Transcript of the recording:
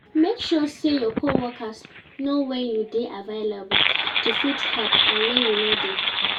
Make sure say your co workers know when you de available to fit help and when you no de